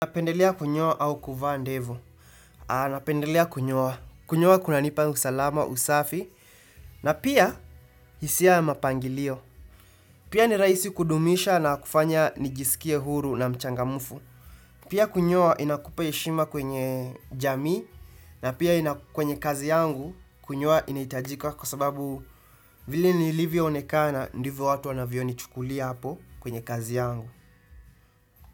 Napendelea kunyoa au kuvaa ndevu. Napendelea kunyoa. Kunyoa kunanipa usalama, usafi. Na pia, hisia ya mapangilio. Pia ni rahisi kudumisha na kufanya nijisikie huru na mchangamufu. Pia kunyoa inakupa heshima kwenye jamii. Na pia kwenye kazi yangu, kunyoa inahitajika kwa sababu vile nilivyoonekana, ndivyo watu wanavionichukulia hapo kwenye kazi yangu.